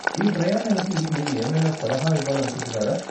ఈ ప్రయాణానికి మీరు ఏమైనా సలహా ఇవ్వాలనుకుంటున్నారా?